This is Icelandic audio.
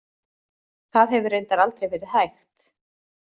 Það hefur reyndar aldrei verið hægt.